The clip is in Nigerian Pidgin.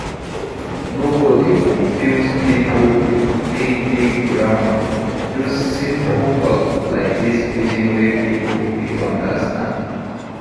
No go dey confuse pipo with big big grammer, use simple talk like this pidgin wey pipo fit understand